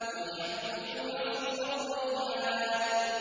وَالْحَبُّ ذُو الْعَصْفِ وَالرَّيْحَانُ